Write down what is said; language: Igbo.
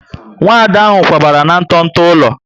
Nwada ahụ kwabara na nto nto ụlọ